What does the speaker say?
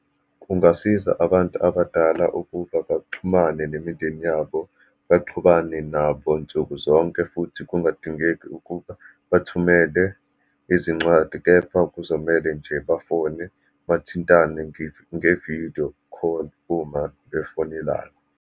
Kungasiza abantu abadala ukuba baxhumane nemindeni yabo, baxhumane nabo nsukuzonke, futhi kungadingeki ukuba bathumele izincwadi, kepha kuzomele nje bafone, bathintane ngevidiyo kholi, uma befonelana.